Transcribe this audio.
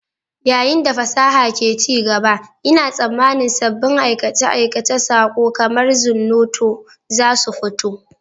Yayin da fasaha ke ci gaba, ina tsammanin sabbin aikace-aikacen saƙo kamar Zornoto za su fito.